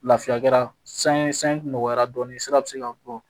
Lafiya kɛra sanye sanji nɔgɔya dɔɔnin sira bɛ se ka bɔ